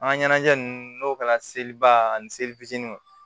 An ka ɲɛnajɛ ninnu n'o kɛra seliba ani seli fitininw